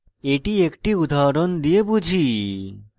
এটি একটি উদাহরণ দিয়ে বুঝি